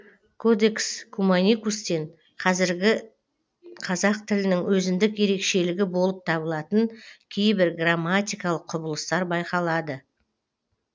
кодекс куманикустен қазіргі қазақ тілінің өзіндік ерекшелігі болып табылатын кейбір грамматикалық құбылыстар байқалады